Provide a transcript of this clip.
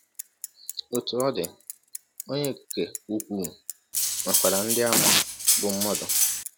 Otú ọ dị, Onye Okike Ukwu nwekwara ndị àmà bụ́ mmadụ.